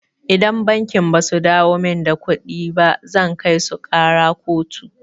Idan bankin basu dawo min da kuɗina ba zan kaisu ƙara kotu.